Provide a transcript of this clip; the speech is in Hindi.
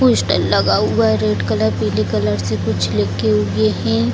पोस्टर लगा हुआ है रेड कलर पिंक कलर कुछ लिखे हुए हैं।